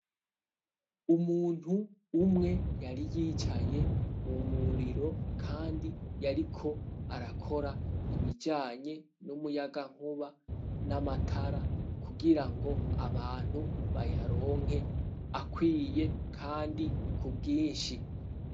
Umuntu umwe yari yicaye mu muriro kandi yariko arakora ibijanye n'umuyagankuba n'amatara kugira ngo abantu bayaronke akwiye kandi ku bwinshi.